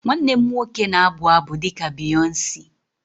Nwanne m nwoke na-abụ abụ dị ka Beyonce